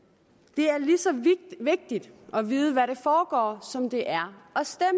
det er lige så vigtigt at vide hvad der foregår som det er